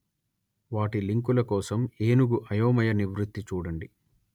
వాటి లింకుల కోసం ఏనుగు అయోమయ నివృత్తి చూడండి